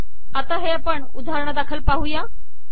आता हे आपण उदाहरणादाखल पाहुया